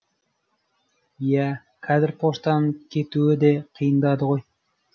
иә қазір поштаның кетуі де қиындады ғой